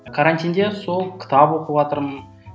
карантинде сол кітап оқыватырмын